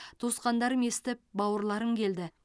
туысқандарым естіп бауырларым келді